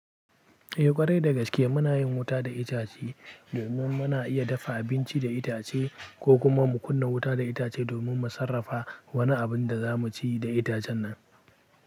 Eh ƙwarai da gaske muna yin wuta da itace domin. Mu muna iya dafa abinci da itace ko kuma mu kunna wuta da itace domin mu sarrafa wani abin da za mu ci da itacen nan.